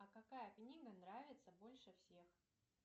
а какая книга нравится больше всех